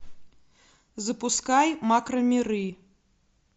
запускай макромиры